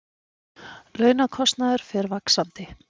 Launakostnaður fer vaxandi